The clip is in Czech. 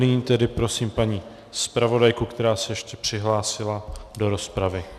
Nyní tedy prosím paní zpravodajku, která se ještě přihlásila do rozpravy.